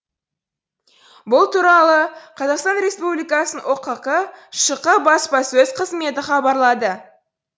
бұл туралы қазақстан республикасы ұқк шқ баспасөз қызметі хабарлады